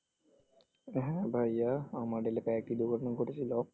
হ্যাঁ ভাইয়া আমার এলাকায় একটি দুর্ঘটনা ঘটেছিল,